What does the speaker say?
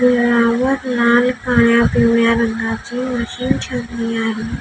वर लाल काळ्या पिवळ्या रंगाची मशीन ठेवली आहे.